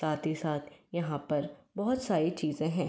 साथ ही साथ यहाँ पर बहुत सारी चीज़े हैं।